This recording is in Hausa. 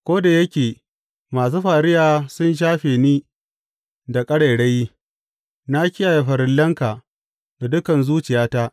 Ko da yake masu fariya sun shafe ni da ƙarairayi, na kiyaye farillanka da dukan zuciyata.